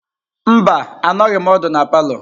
Mba, anọghim ódu na palọ.